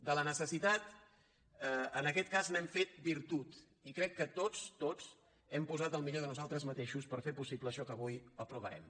de la necessitat en aquest cas n’hem fet virtut i crec que tots tots hem posat el millor de nosaltres mateixos per fer possible això que avui aprovarem